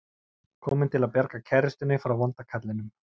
Kominn til að bjarga kærustunni frá vonda kallinum.